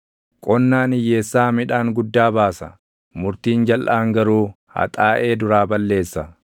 Qonnaan hiyyeessaa midhaan guddaa baasa; murtiin jalʼaan garuu haxaaʼee duraa balleessa.